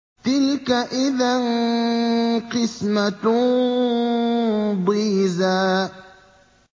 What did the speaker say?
تِلْكَ إِذًا قِسْمَةٌ ضِيزَىٰ